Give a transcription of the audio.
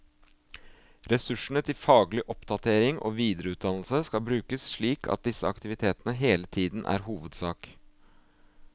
Ressursene til faglig oppdatering og videreutdannelse skal brukes slik at disse aktivitetene hele tiden er hovedsak.